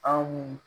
Anw